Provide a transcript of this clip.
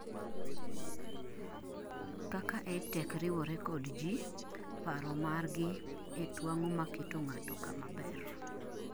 kaka Edtech riwore kod ji 'paro mar gi e twang'o maketo ngato kama ber